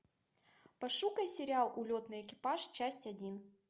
пошукай сериал улетный экипаж часть один